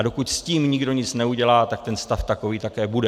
A dokud s tím nikdo nic neudělá, tak ten stav takový také bude.